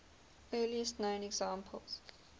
earliest known examples